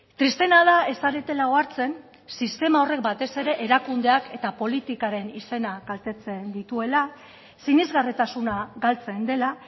tristeena da ez zaretela ohartzen sistema horrek batez ere erakundeak eta politikaren izena kaltetzen dituela sinesgarritasuna galtzen dela